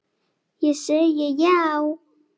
Ég segi já!